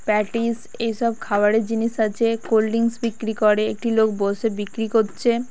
Patties এসব খাবারের জিনিস আছে কোল ড্রিঙ্ক বিক্রি করে একটি লোক বসে বিক্রি করছে।